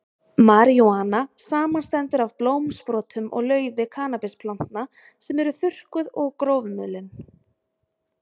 Marijúana samanstendur af blómsprotum og laufi kannabisplantna sem eru þurrkuð og grófmulin.